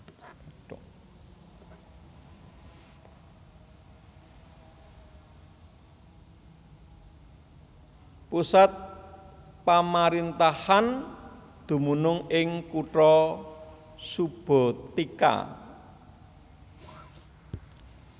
Pusat pamaréntahan dumunung ing kutha Subotica